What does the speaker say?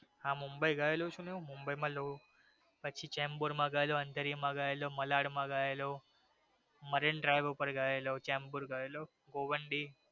હા મુંબઈ માં ગયેલો છું ને મુંબઈમાં ચેમ્બુર માં ગયેલો મલાડ માં ગયેલો મરીનડ્રાઈવ ઉપર ગયેલો ચેમ્બુર ગયેલો ભોવાનડી